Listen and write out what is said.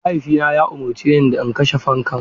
Mahaifina ya umarce ni da in kashe fankan.